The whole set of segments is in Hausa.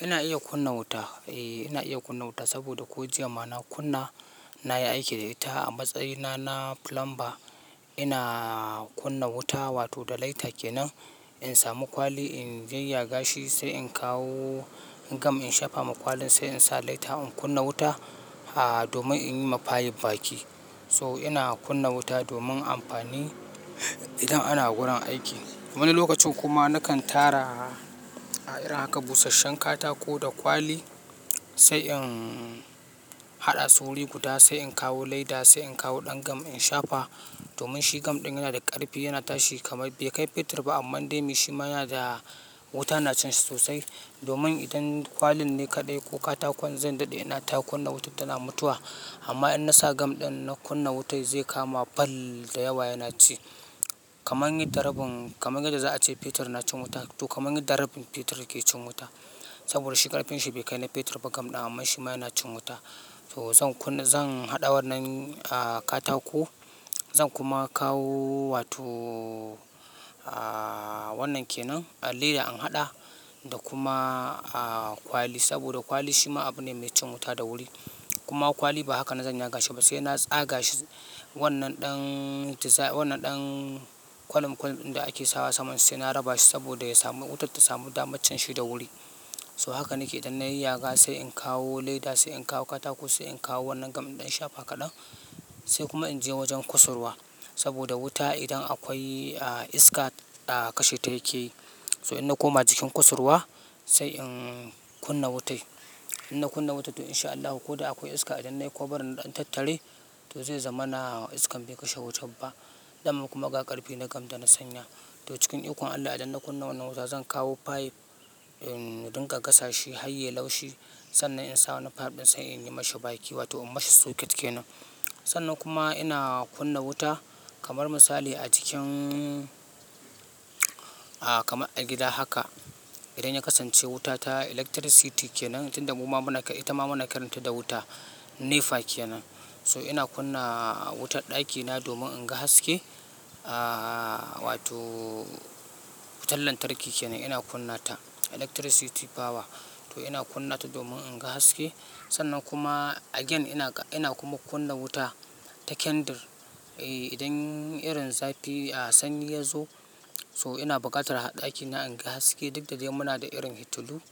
Ina iya kunna wuta. Eh, ina iya kunna wuta saboda ko jiya mana kunna na yi aiki da ita a matsayina na plumber. Ina kunna wuta wato da lighter kenan, in samu kwali in je ya gashi sai in kawo gam in shafa ma kwalin sai in sa lighter in kunna wuta, a, domin in yi ma pipe baki. So ina kunna wuta domin amfani idan ana gurin aiki. Wani lokacin kuma nakan tara, a irin haka busasshen katako da kwali sai in haɗa su wuri guda sai in kawo lighter sai in kawo ɗan gam in shafa domin shi gam ɗin yana da ƙarfi yana tashi kamar bai kai fetur ba amma dai shi ma yana da wuta na cin shi sosai. Domin idan kwalin ne kadai ko katakon ne zan dade ina ta kunna wan tana mutuwa amma in na sa gam ɗin na kunna wuta zai kama fal da yawa yana ci. Kaman yi da rabin, kaman yadda za a ce fetur nacin wuta, to kaman yi da rabin fetur ke cin wuta. Saboda shi ƙarfin shi bai kai na fetur ba gam ɗin amma shi ma yana cin wuta. To zan kuna, zan haɗa wannan, a, katako zan kuma kawo wato, a, wannan kenan leda in haɗa da kuma, a, kwali saboda kwali shi ma abu ne mai cin wuta da wuri. Kuma kwali ba haka na zan ya gashi ba sai na tsaga shi wannan ɗan tiza, wannan ɗan kwanam kwan da ake sawa saman sai na raba shi saboda ya samu, wutar ta samu damar cin shi da wuri. Toh haka nake yi idan na yayyaga sai in kawo leda sai in kawo katako sai in kawo wannan gam in shafa kadan sai kuma in je wajen kasurwa saboda wuta idan akwai, a, iska ta kashe ta yake yi. So idan na koma jikin kusurwa sai in kunna wutai. Idan na kunna wuta to in sha Allahu ko da akwai iska idan nayi kwabarin in ɗan tattare to zai zama na iskar bai kashe wuta ba. Sannan kuma ga ƙarfi na gam da na sanya. To cikin iko Allah idan na kunna wannan wuta zan kawo pipe, in, dinga gasa shi har ya yi laushi sannan in sa wannan pipe ɗin sai in yi ma shi baki wato in masa socket kenan. Sannan kuma ina kunna wuta kamar misali a jikin kaman a gida haka idan ya kasance wuta ta electricty to tunda ita ma muna kiranta wuto NEPA kenan. So ina kunna wutar ɗakina domin in ga haske, a, wato wutar lantarki kenan ina kunna ta electricity power. To ina kunna ta domin in ga haske sannan kuma again ina, ina kuma kunna wuta ta candle. Eh, idan irin zafi, a, sanyi ya zo so ina bukatar a ɗakina in ga haske duk da dai muna da irin hitulu.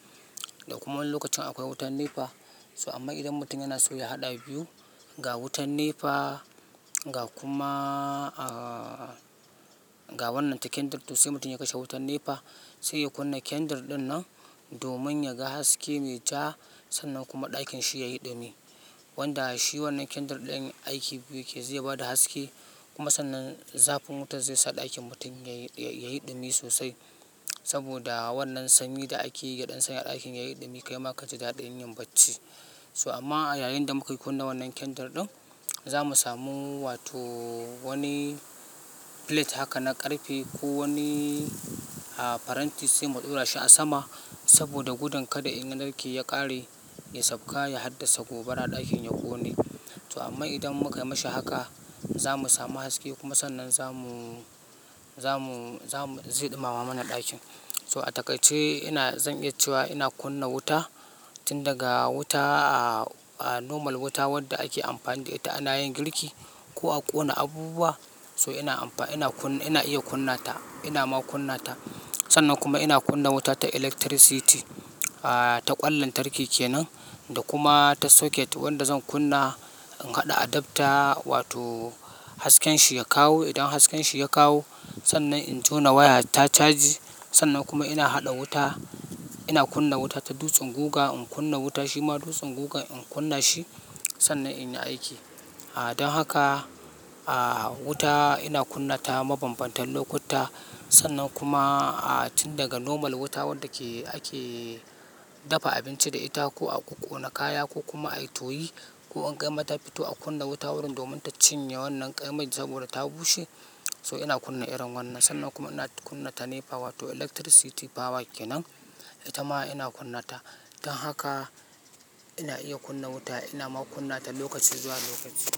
Da kuma wani lokacin akwai wutar NEPA. So amma idan mutum yana so ya haɗa biyu, ga wutar NEPA ga kuma, a, ga wannan ta candle to sai mutum ya kashe wutar NEPA sai ya kunna candle ɗin nan domin ya ga haske me ja sannan kuma ɗakin shi ya yi ɗumi. Wanda shi wannan candle ɗin aiki biyu yake, zai ba da haske kuma sannan zafin wutar zai sa ɗakin mutum ya yi, ya yi ɗumi sosai. Saboda wannan sanyi da ake yi ya ɗan sanya ɗakin ya yi ɗumi kai ma ka ji daɗin yin bacci. So amma a yayin da muka yi kunna wannan candle ɗin, za mu samu wato wani plate haka na ƙarfe ko wani, a, faranti sai mu ɗaura shi a sama saboda gudan kada in ya narke ya ƙare ya sauka ya haddasa gobara ɗakin ya ƙone. So amma idan muka yi ma shi haka za mu samu haske kuma sannan za mu, za mu, za mu, zai ɗumama mana ɗakin. So a takaice ina, zan iya cewa ina kunna wuta tun daga wuta, a, a, normal wuta wadda ake amfani da ita ana yin girki ko a ƙona abubuwa. So ina amfa, ina kunna, ina iya kunna ta, ina ma kunna ta. Sannan kuma ina kunna wuta ta electricity, a, ta ƙwan lantarki kenan da kuma ta socket wanda zan kunna in haɗa adapter wato hasken shi ya kawo. Idan hasken shi ya kawo sannan in jona waya ta caji sannan kuma ina haɗa wuta. Ina kunna wuta ta dutsen guga in kunna wuta shi ma dutsen guga in kunna shi sannan ina aiki. A don haka, a, wuta ina kunna ta mabanbantan lokuta sannan kuma, a, tun daga normal wuta wadda ake, ake dafa abinci da ita ko a ƙona kaya ko kuma a toyi ko an gama ta fito a kunna wuta wurin domin ta cinye wannan ƙarami saboda ta bushe. So ina kunna irin wannan sannan kuma ina kunna ta NEPA wato electricity power kenan, ita ma ina kunna ta. Don haka ina iya kunna wuta ina ma kunna ta lokaci zuwa lokaci.